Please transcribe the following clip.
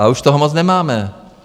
A už toho moc nemáme.